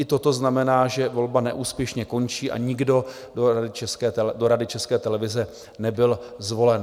I toto znamená, že volba neúspěšně končí a nikdo do Rady České televize nebyl zvolen.